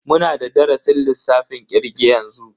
Muna da darasin lissafin kirge yanzu.